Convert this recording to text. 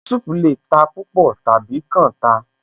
Pepper soup lè ta púpọ̀ tàbí kan ta